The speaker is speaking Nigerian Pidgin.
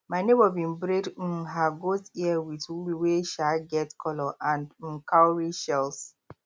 my neighbour been braid um her goat ear with wool wey um get colour and um cowrie shells